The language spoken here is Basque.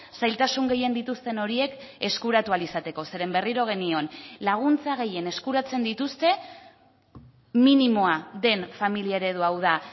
zailtasun gehien dituzten horiek eskuratu ahal izateko zeren berriro genion laguntza gehien eskuratzen dituzte minimoa den familia eredua hau da